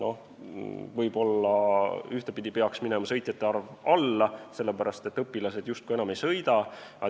Ühtepidi võib-olla peaks minema sõitjate arv alla, sellepärast et õpilased justkui enam ei sõida.